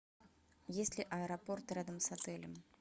есть ли аэропорт рядом с отелем